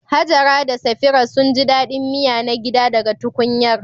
Hajara da Safira sun ji daɗin miya na gida daga tukunyar.